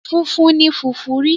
Funfun ni fùfú ri.